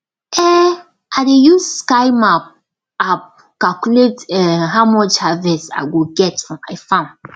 um i dey use sky map app calculate um how much harvest i go get for my farm